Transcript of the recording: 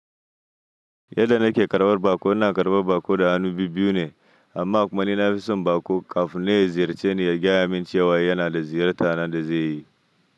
Yadda nake karɓar baƙo, ina karɓar baƙo da hannu bibbiyu ne amma kuma ni na fison baƙo kafin nan ya ziyarce ni ya gaya mini cewa yana da ziyarta na da zai yi.